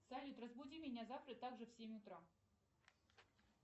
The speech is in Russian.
салют разбуди меня завтра также в семь утра